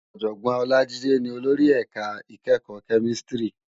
Òjògbòn Olajide ni ólóri èká ikèékò Kèmìsítìrí